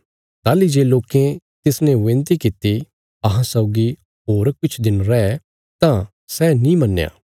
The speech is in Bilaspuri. ताहली जे लोकें तिसने विनती कित्ती अहां सौगी होर किछ दिन रै तां सै नीं मन्नया